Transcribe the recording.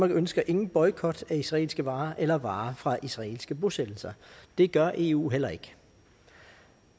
ønsker ingen boykot af israelske varer eller varer fra israelske bosættelser det gør eu heller ikke